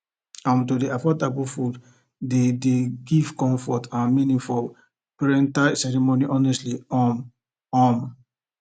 um to dey avoid taboo foods dey dey give comfort and meaning for prenatal ceremonies honestly um um